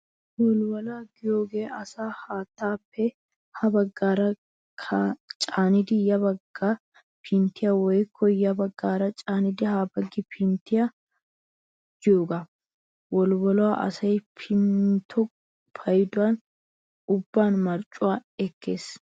Wolwoluwaa giyoogee asaa haattaappe ha baggaara caanidi ya baggi pinttiyaa woykko ya baggaara caanidi ha pinttiyaaba giyoogaa. Wolwoloy asaa pintto paydo ubban marccuwaa ekkees.